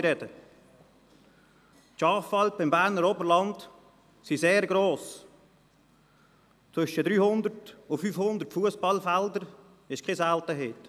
Die Schafalpen im Berner Oberland sind sehr gross, eine Grösse zwischen 300 und 500 Fussballfelder ist keine Seltenheit.